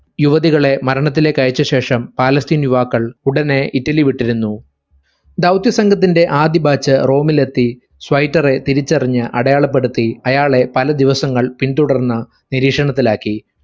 യുവതികളെ മരണത്തിലേക്ക് അയച്ച ശേഷം പാലസ്തീൻ യുവാക്കൾ ഉടനെ ഇറ്റലി വിട്ടിരുന്നു. ദൗത്യ സംഘത്തിന്റെ ആദ്യ batch റോമിലെത്തി സ്വൈറ്ററെ തിരിച്ചറിഞ്ഞു അടയാളപ്പെടുത്തി അയാളെ പല ദിവസങ്ങൾ പിന്തുടർന്ന നിരീക്ഷണത്തിലാക്കി